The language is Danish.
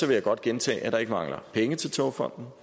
jeg godt gentage at der ikke mangler penge til togfonden